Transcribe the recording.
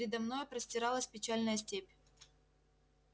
передо мною простиралась печальная степь